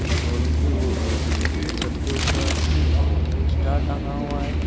Showroom के छत के ऊपर एक स्टार टंगा हुआ है।